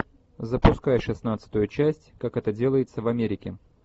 запускай шестнадцатую часть как это делается в америке